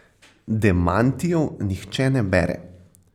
Demantijev nihče ne bere.